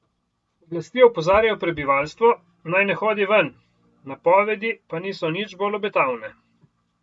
Oblasti opozarjajo prebivalstvo, naj ne hodi ven, napovedi pa niso nič bolj obetavne.